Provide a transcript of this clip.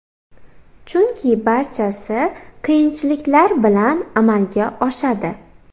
Chunki barchasi qiyinchiliklar bilan amalga oshadi.